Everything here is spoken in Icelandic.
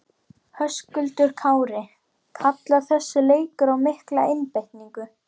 Höskuldur Kári: Kallar þessi leikur á mikla einbeitingu?